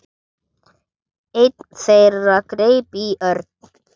Einn þeirra greip í Örn.